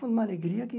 Foi uma alegria que...